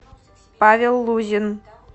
павел лузин